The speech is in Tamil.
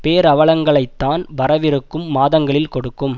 பேரவலங்களைத்தான் வரவிருக்கும் மாதங்களில் கொடுக்கும்